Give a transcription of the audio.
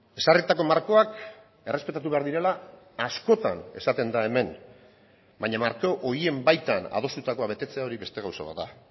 ezarritako markoak errespetatu behar direla askotan esaten da hemen baina marko horien baitan adostutakoa betetzea hori beste gauza bat da